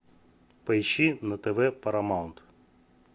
поищи на тв парамаунт